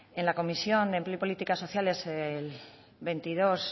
en la comisión de empleo y política sociales de veintidós